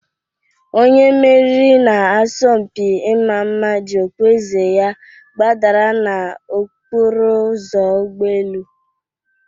Onye meriri n'asọmpi ịma mma ji okpueze ya gbadara n'okporo ụzọ ụgbọ elu